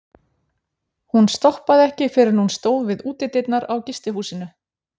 Hún stoppaði ekki fyrr en hún stóð við útidyrnar á gistihúsinu.